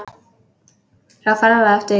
Sá ferlega eftir því.